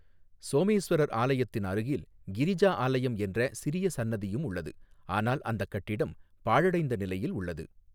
சோமேஸ்வரர் ஆலயத்தின் அருகில் கிரிஜா ஆலயம் என்ற சிறிய சன்னதியும் உள்ளது, ஆனால் அந்தக் கட்டிடம் பாழடைந்த நிலையில் உள்ளது.